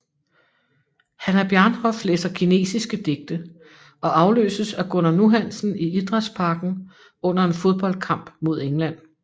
Hannah Bjarnhof læser kinesiske digte og afløses af Gunnar Nu Hansen i Idrætsparken under en fodboldkamp mod England